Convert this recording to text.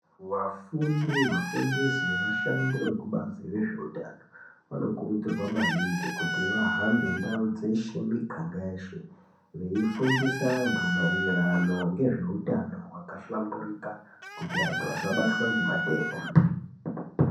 Wafundi, wafundisi vevashandi vekubazi rezveutano, vanokurudzirwa maningi kuti vahambe Ndau dzeshe, miganga yeshe veyi fundisa anthu maererano ngezveutano hwakahlamburika kuti anthu asa batwa nematenda.